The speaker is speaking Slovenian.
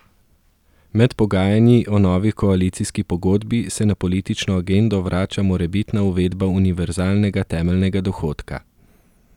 Med pogajanji o novi koalicijski pogodbi se na politično agendo vrača morebitna uvedba univerzalnega temeljnega dohodka.